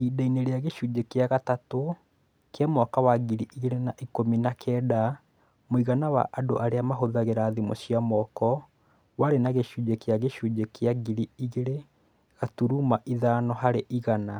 Ihinda-inĩ rĩa gĩcunjĩ gĩa gatatũ kĩa mwaka wa ngiri igĩrĩ na ikũmi na kenda, mũigana wa andũ arĩa mahũthagĩra thimũ cia moko warĩ na gĩcunjĩ kĩa gĩcunjĩ kĩa igĩrĩ gaturuma ithano harĩ igana.